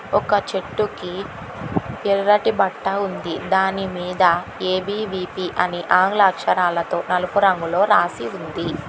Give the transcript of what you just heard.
ఒక చెట్టుకి ఎర్రటి బట్ట ఉంది దాని మీద ఏ_బీ_వీ_పీ అని ఆంగ్ల అక్షరాలతో నలుపు రంగులో రాసి ఉంది.